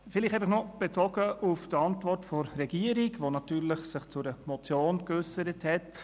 Noch ein Bezug auf die Antwort der Regierung, die sich natürlich zu einer Motion geäussert hat: